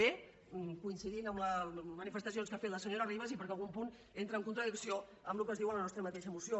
b coincidint amb les manifestacions que ha fet la senyora ribas i perquè algun punt entra en contradicció amb el que es diu en la nostra mateixa moció